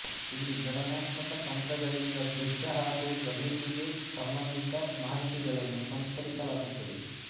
ಇಲ್ಲಿ ಗಣನಾತ್ಮಕ ತಂತ್ರಗಳಿಂದ ದೃಶ್ಯ ಹಾಗೂ ಜಾಮಿತಿಗೆ ಸಂಭಂದಿತ ಮಾಹಿತಿಗಳನ್ನು ಸಂಸ್ಕರಿಸಲಾಗುತ್ತದೆ